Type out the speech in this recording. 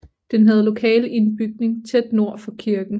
Den havde lokale i en bygning tæt nord for kirken